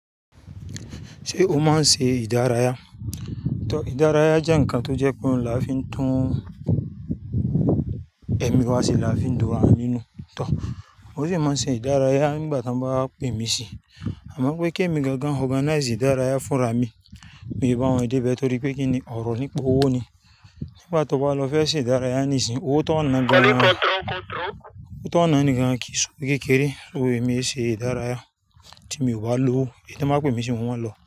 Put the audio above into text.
Ṣé o máa ń ṣe ìdárayá? Ìdárayá jẹ́ ǹkan tó jẹ́ pé là fí ń tún ẹ̀mí wa ṣe, là fí ń dúró àánú nù. To mo sì máa ń ṣe ìdárayá nígbà tí a bá pè mí sí. Àmọ́ pé kí èmi gangan organize ìdárayá fúnra mi, mi ò bá wọ́n dé ibẹ̀ torí pé kíni ọ̀rọ̀ nípa owó ni. Nígbà tí o bá lọ fẹ́ ṣe ìdárayá níìsín, owó tó ọ̀nà ní gan-an kìí ṣe owo kékeré mi ṣe ìdárayá tí mi ò bá lówó. Ìbí tí wọ́n máa pè mí sí wọn lọ.